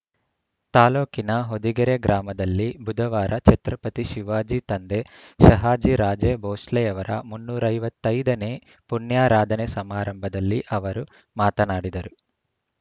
ತಾಲೂಕಿನ ಹೊದಿಗೆರೆ ಗ್ರಾಮದಲ್ಲಿ ಬುಧವಾರ ಛತ್ರಪತಿ ಶಿವಾಜಿ ತಂದೆ ಶಹಾಜಿ ರಾಜೇ ಬೌಂಸ್ಲೆಯವರ ಮುನ್ನೂರ ಐವತ್ತ್ ಐದ ನೇ ಪುಣ್ಯಾರಾಧನೆ ಸಮಾರಂಭದಲ್ಲಿ ಅವರು ಮಾತನಾಡಿದರು